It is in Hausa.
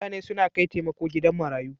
Mutane suna kai taimako gidan marayu.